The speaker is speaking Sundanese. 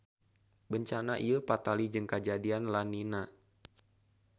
Bencana ieu patali jeung kajadian La Niña.